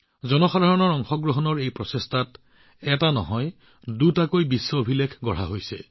জনসাধাৰণৰ অংশগ্ৰহণৰ বাবে আমাৰ এই প্ৰচেষ্টাত কেৱল এটাই নহয় দুটা বিশ্ব অভিলেখো সৃষ্টি হৈছে